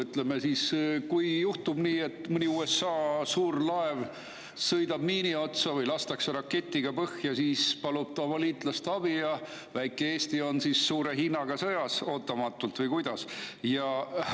Ütleme, kui juhtub nii, et mõni USA suur laev sõidab miini otsa või lastakse raketiga põhja, siis ta palub oma liitlaste abi ja väike Eesti on ootamatult suure Hiinaga sõjas, või kuidas?